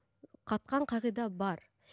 қатқан қағида бар